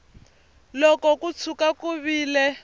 loko ko tshuka ku vile